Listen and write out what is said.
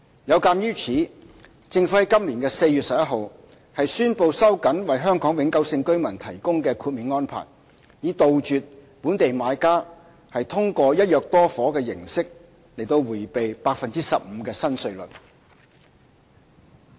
有鑒於此，政府在今年4月11日宣布收緊為香港永久性居民提供的豁免安排，以杜絕本地買家通過"一約多伙"的形式迴避 15% 的新稅率。